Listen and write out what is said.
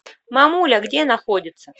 мамуля где находится